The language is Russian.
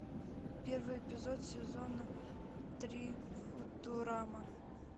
первый эпизод сезона три футурама